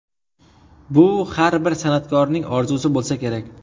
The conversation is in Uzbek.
Bu har bir san’atkorning orzusi bo‘lsa kerak.